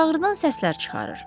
Baş ağrıdan səslər çıxarır.